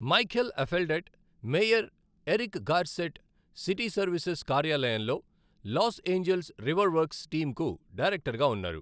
Michael Afeldt, Mayor Eric Garcetti City Services కార్యాలయంలో Los Angeles River Works team కు డైరక్టర్గా ఉన్నారు.